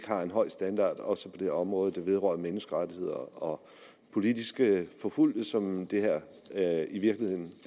har en høj standard også på det område der vedrører menneskerettigheder og politiske forfulgte som det her i virkeligheden